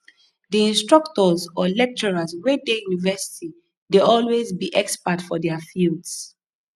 di instructors or lecturers wey de university dey always be expert for their fields